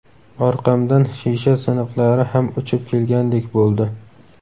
Orqamdan shisha siniqlari ham uchib kelgandek bo‘ldi.